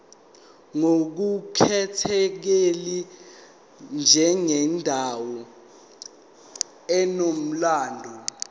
ngokukhethekile njengendawo enomlando